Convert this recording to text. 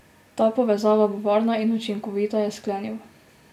Ta povezava bo varna in učinkovita, je sklenil.